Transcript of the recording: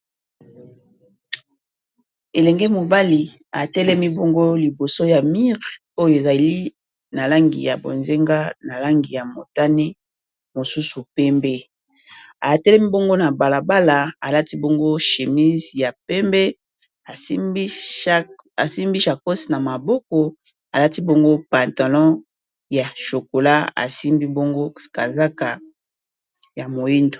elenge mobali atelemi bongo liboso ya mire oyo ezali na langi ya bozenga na langi ya motane mosusu pembe atelemi bongo na balabala alati bongo chemise ya pembe asimbi chakose na maboko alati bongo patanon ya chocola asimbi bongo kazaka ya mohindo